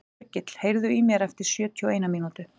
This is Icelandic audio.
Hergill, heyrðu í mér eftir sjötíu og eina mínútur.